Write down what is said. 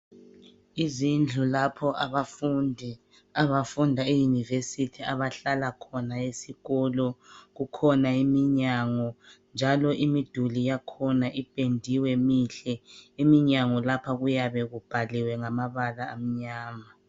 Izindlu lapho abafundi abafunda eYunivesithi abahlala khona esikolo kukhona iminyango njalo imiduli yakhona ipendiwe mihle eminyango lapha kuyabe kubhaliwe ngamabala amnyama.